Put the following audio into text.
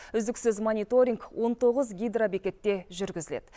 үздіксіз мониторинг он тоғыз гидробекетте жүргізіледі